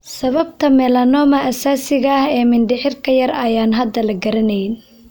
Sababta melanoma aasaasiga ah ee mindhicirka yar ayaan hadda la garanayn.